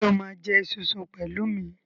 Sọ ma jẹ esunsun pẹ̀lú mi?